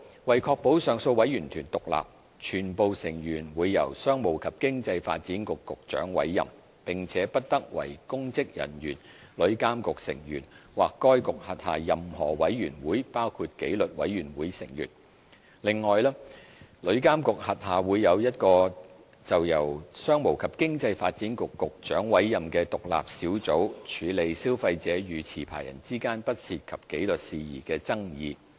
為確保上訴委員團獨立，全部成員會由商務及經濟發展局局長委任，並且不得為公職人員、旅監局成員或該局轄下任何委員會的成員。另外，旅監局轄下會有一個由商務及經濟發展局局長委任的獨立小組，處理消費者與持牌人之間不涉及紀律事宜的爭議。